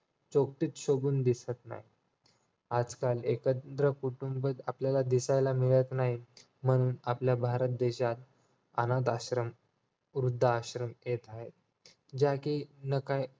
चौकीत शोभून दिसत नाही आजकाल एकत्र कुटुंब आपल्याला दिसायला मिळत नाहीत म्हणून आपल्या भारत देशात अनाथाश्रम, वृद्धश्रम येत आहेत ज्या कि